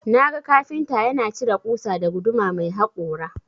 Naga kafinta yana cire ƙusa da guduma mai hakora.